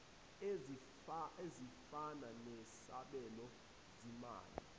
ezifana nesabelo zimali